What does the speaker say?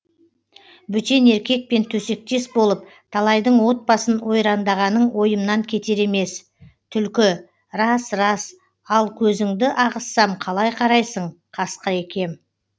бөтен еркекпен төсектес болып талайдың отбасын ойрандағаның ойымнан кетер емес түлкі рас рас ал көзіңді ағызсам қалай қарайсың қасқыр екем